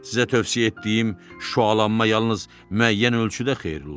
Sizə tövsiyə etdiyim şualanma yalnız müəyyən ölçüdə xeyirli oldu.